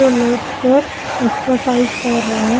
Late कर exercise कर रहा है ।